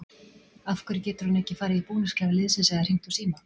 Af hverju getur hann ekki farið í búningsklefa liðsins eða hringt úr síma?